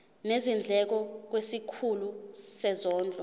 nezindleko kwisikhulu sezondlo